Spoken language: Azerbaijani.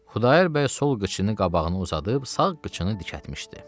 Xudayar bəy sol qıçını qabağını uzadıb, sağ qıçını dikəltmişdi.